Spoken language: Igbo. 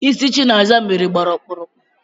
Ịsị Chinasa mere gbara ọkpụrụkpụ